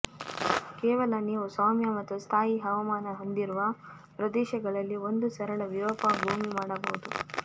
ಕೇವಲ ನೀವು ಸೌಮ್ಯ ಮತ್ತು ಸ್ಥಾಯಿ ಹವಾಮಾನ ಹೊಂದಿರುವ ಪ್ರದೇಶಗಳಲ್ಲಿ ಒಂದು ಸರಳ ವಿರೂಪ ಭೂಮಿ ಮಾಡಬಹುದು